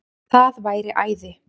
Það væri æði